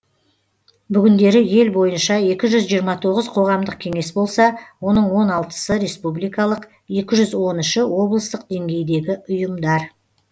бүгіндері ел бойынша екі жүз жиырма тоғыз қоғамдық кеңес болса оның он алтысы республикалық екі жүз он үші облыстық деңгейдегі ұйымдар